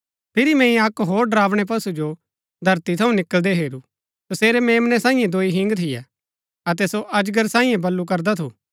फिरी मैंई अक्क होर डरावनै पशु जो धरती थऊँ निकळदै हेरू तसेरै मेम्नै सांईये दोई हिंग थियै अतै सो अजगर सांईये वलू करदा थू